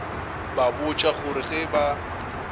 ba botša gore ge ba